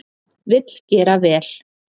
Vill gera vel